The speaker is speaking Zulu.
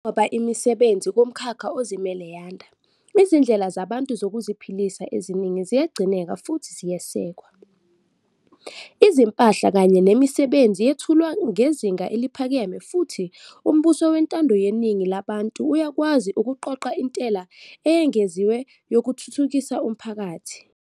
Njengoba imisebenzi kumkhakha ozimele yanda, izindlela zabantu zokuziphilisa eziningi ziyagcineka futhi ziyesekwa. Izimpahla kanye nemisebenzi yethulwa ngezinga eliphakeme futhi umbuso wentando yeningi labantu uyakwazi ukuqoqa intela eyengeziwe yokuthuthukisa umphakathi.